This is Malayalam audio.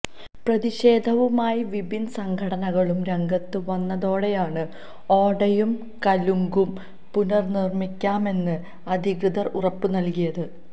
പ്രതിഷേധവുമായി വിവിധ സംഘടനകളും രംഗത്ത് വന്നതോടെയാണ് ഓടയും കലുങ്കും പുനര്നിര്മിക്കാമെന്ന് അധികൃതര് ഉറപ്പ് നല്കിയത്